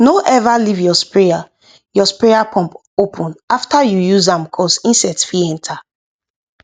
no ever leave your sprayer your sprayer pump open after you use am cos insect fit enter